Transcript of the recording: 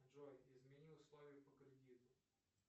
джой измени условия по кредиту